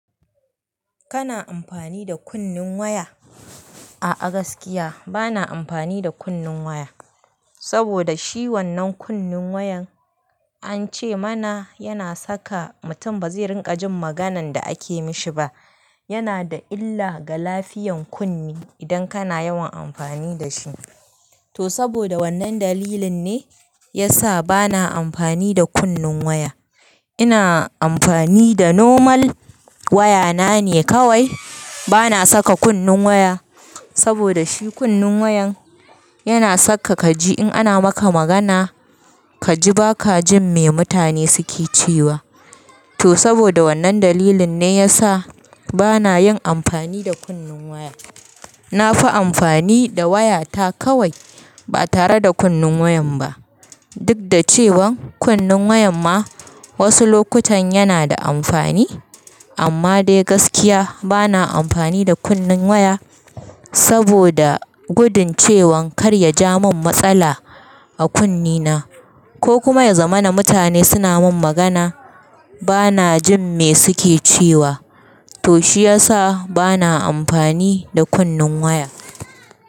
Kana amfani da kunnen waya? A'a gaskiya bana amfani da kunnen waya, saboda shi wannan kunnen wayan ance mana yana saka mutum bazai ringa jin maganan da ake mishi ba. Yana da illa ga lafiyan kunne idan kana yawan amfani da shi. To saboda wannan dalilin ne ya sa bana amfani da kunnin waya. Ina amfani da normal waya na ne kawai. Bana saka kunnin waya saboda shi kunnin wayan yana saka kaji in ana maka magana, kaji baka jin me mutane suke cewa. To saboda wannan dalilin ne ya sa bana yin amfani da kunnin waya. Na fi amfani da waya ta kawai ba tare da kunnen wayan ba. Duk da cewan kunnen wayan ma wasu lokutan yana da amfani. Amma dai gaskiya bana amfani da kunnen waya saboda gudun cewan kar ya ja min matsala a kunne na, ko kuma ya zama na mutane suna min magana bana jin me suke cewa. To shi ya sa bana amfani da kunnin waya.